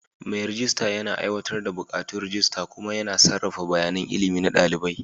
Mai rejista yana aiwatar da buƙatun rajista kuma yana sarrafa bayanan ilimi na ɗalibai.